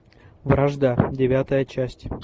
вражда девятая часть